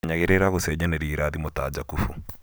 menyagĩrira gũcenjanĩrio irathimo ta Jakubu